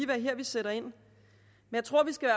være her vi sætter ind jeg tror at vi skal